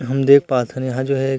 हम देख पात हन यहाँ जो हैं।